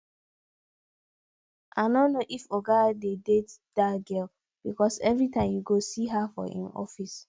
i no know if oga dey date dat girl because everytime you go see her for im office